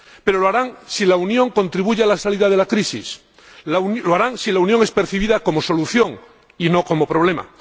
Pero lo harán si la Unión contribuye a la salida de la crisis. Lo harán si la Unión es percibida como solución y no como problema.